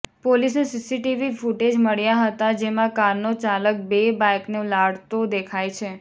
પોલીસને CCTV footage મળ્યા હતાં જેમાં કારનો ચાલક બે બાઇકને ઉલાળતો દેખાય છે